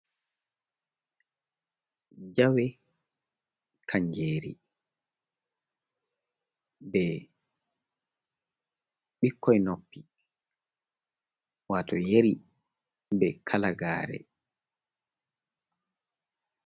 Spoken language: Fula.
Jawe kanngeeri be ɓikkoy noppi wato yeri be kalagare.